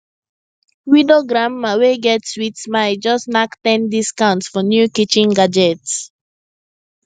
widow granma wey get sweet smile just knack ten discount for new kitchen gadgets